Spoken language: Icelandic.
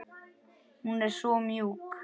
Hún er svo mjúk.